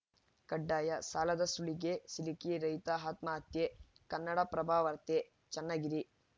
ಕಡ್ಡಾಯ ಸಾಲದ ಸುಳಿಗೆ ಸಿಲುಕಿ ರೈತ ಆತ್ಮಹತ್ಯೆ ಕನ್ನಡಪ್ರಭವಾರ್ತೆ ಚನ್ನಗಿರಿ